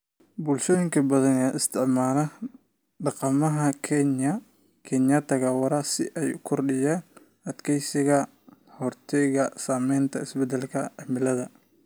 Bulshooyinka badan ayaa isticmaalaya dhaqamada kaynta waara si ay u kordhiyaan adkeysiga ka hortagga saameynta isbedelka cimilada.